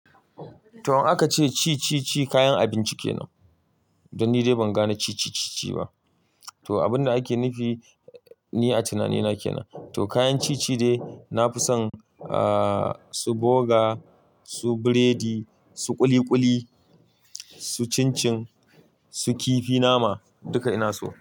To, anka ce ci ci ci kayan abinci kenan? Dan ni dai ban gane ci ci ci ci ba. To abun da ake nufi ni a tunaninake nan. To kayan ci ci dai nafi son, aa su boga, su biredi, su ƙuli ƙuli, su cincin, su kifi nama duka ina so.